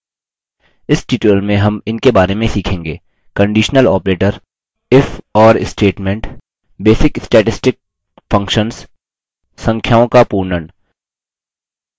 इस tutorial में हम in बारे में सीखेंगे: conditional operator if or statement basic statistic functions संख्याओं का पूर्णन